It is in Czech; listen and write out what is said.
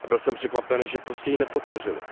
Byl jsem překvapen, že prostě ji nepodpořily.